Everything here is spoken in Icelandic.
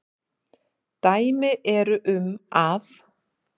Dæmi eru um að